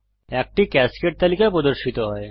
একটি ক্যাসকেড তালিকা প্রদর্শিত হয়